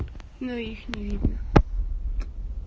ну их не видно